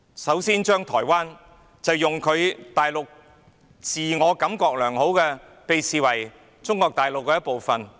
首先，大陸自我感覺良好，把台灣視為中國大陸的一部分。